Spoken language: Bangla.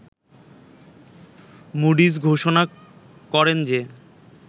মুডিস ঘোষণা করেন যে